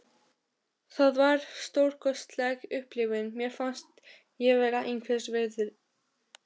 Stafurinn hennar er saumaður í eitt horn þurrkunnar.